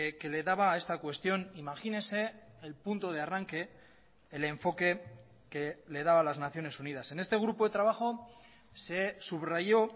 que le daba a esta cuestión imagínese el punto de arranque el enfoque que le daba las naciones unidas en este grupo de trabajo se subrayó